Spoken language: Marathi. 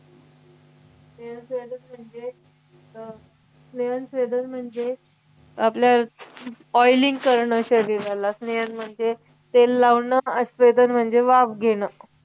स्नेहन स्वेदन म्हणजे अं स्नेहन स्वेदन म्हणजे आपल्या oiling करणं शरीराला स्नेहन म्हणजे तेल लावणं आणि स्वेदन म्हणजे वाफ घेणं